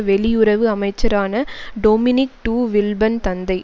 வெளியுறவு அமைச்சரான Dominique de Villepin தந்தை